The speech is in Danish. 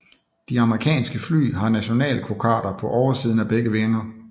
De amerikanske fly har nationalkokarder på oversiden af begge vinger